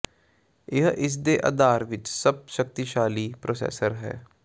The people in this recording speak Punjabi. ਇਹ ਇਸ ਦੇ ਆਧਾਰ ਵਿੱਚ ਸਭ ਸ਼ਕਤੀਸ਼ਾਲੀ ਪ੍ਰੋਸੈਸਰ ਹੈ